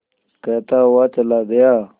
कहता हुआ चला गया